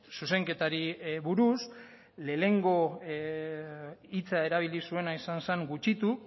zuzenketari buruz lehengo hitza erabili zuena izen zen gutxitu